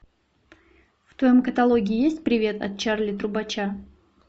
в твоем каталоге есть привет от чарли трубача